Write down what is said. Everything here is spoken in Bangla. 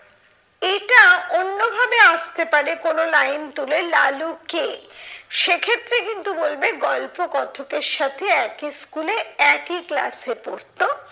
এটা অন্য ভাবে আসতে পারে কোনো line তুলে, লালু কে? সেক্ষত্রে কিন্তু বলবে গল্পকথকের সাথে একই স্কুলে একই class এ পড়তো।